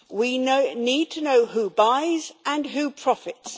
We need to know who buys and who profits.